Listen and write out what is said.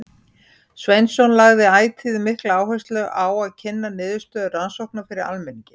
Sveinsson lagði ætíð mikla áherslu á að kynna niðurstöður rannsókna fyrir almenningi.